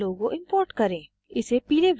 inkscape logo import करें